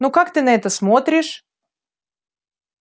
ну как ты на это смотришь